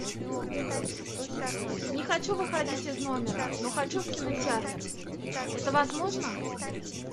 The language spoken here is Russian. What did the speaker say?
не хочу выходить из номера но хочу в кинотеатр это возможно